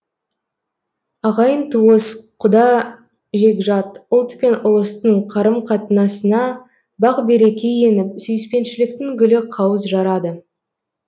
ағайын туыс құда жекжат ұлт пен ұлыстың қарым қатынасына бақ береке еніп сүйіспеншіліктің гүлі қауыз жарады